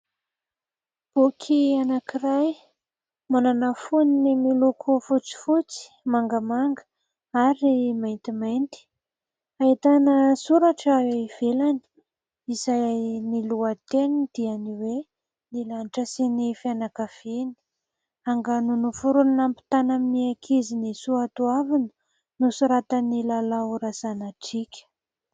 Boky anakiray manana fonony miloko fotsifotsy, mangamanga ary maintimainty, ahitana soratra ivelany izay ny lohateniny dia ny hoe :" Ny lanitra sy ny fianakaviany" angano noforonina hampitana amin'ny ankizy ny soatoavina nosoratan'i Lalao Razanadriaka.